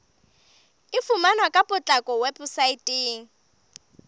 e fumaneha ka potlako weposaeteng